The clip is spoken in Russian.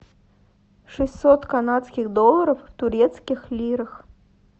шестьсот канадских долларов в турецких лирах